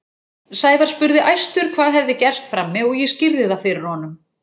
Sævar spurði æstur hvað hefði gerst frammi og ég skýrði það fyrir honum.